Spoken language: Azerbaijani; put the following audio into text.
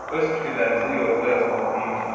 Öz fikirlərinizi şərhdə yazmağı unutmayın.